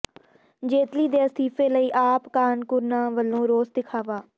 ਜੇਤਲੀ ਦੇ ਅਸਤੀਫ਼ੇ ਲਈ ਆਪ ਕਾਰਕੁਨਾਂ ਵਲੋਂ ਰੋਸ ਵਿਖਾਵਾ